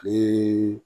Ni